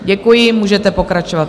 Děkuji, můžete pokračovat.